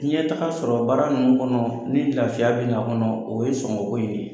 ɲɛtaga sɔrɔ baara ninnu kɔnɔ ni lafiya bɛ na a kɔnɔ o ye sɔngɔko in de ye.